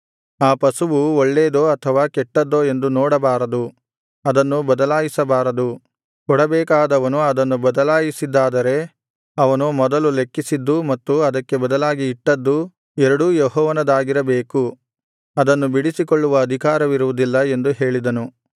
ಆ ಪಶುವು ಒಳ್ಳೇದೋ ಅಥವಾ ಕೆಟ್ಟದ್ದೋ ಎಂದು ನೋಡಬಾರದು ಅದನ್ನು ಬದಲಾಯಿಸಬಾರದು ಕೊಡಬೇಕಾದವನು ಅದನ್ನು ಬದಲಾಯಿಸಿದ್ದಾದರೆ ಅವನು ಮೊದಲು ಲೆಕ್ಕಿಸಿದ್ದೂ ಮತ್ತು ಅದಕ್ಕೆ ಬದಲಾಗಿ ಇಟ್ಟದ್ದೂ ಎರಡೂ ಯೆಹೋವನದಾಗಿರಬೇಕು ಅದನ್ನು ಬಿಡಿಸಿಕೊಳ್ಳುವ ಅಧಿಕಾರವಿರುವುದಿಲ್ಲ ಎಂದು ಹೇಳಿದನು